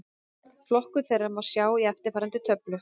Flokkun þeirra má sjá í eftirfarandi töflu: